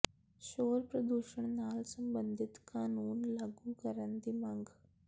ਸ਼ੋਰ ਪ੍ਰਦੂਸ਼ਣ ਨਾਲ ਸਬੰਧਿਤ ਕਾਨੂੰਨ ਲਾਗੂ ਕਰਨ ਦੀ ਮੰਗ